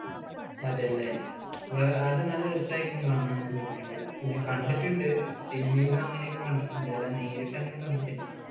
അതെ അല്ലേ. വേ അത് നല്ല രസമായിരിക്കും കാണാൻ എന്ന് കേട്ടിട്ടുണ്ട്. ഞാൻ കണ്ടിട്ടുണ്ട് cinema യിലും അങ്ങനെയൊക്കെ കണ്ടിട്ടുണ്ട്, അല്ലാതെ നേരിട്ട് അങ്ങനെ കണ്ടിട്ടില്ല.